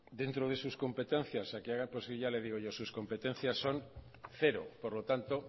dentro de sus competencias a que haga pues ya le digo yo sus competencias son cero por lo tanto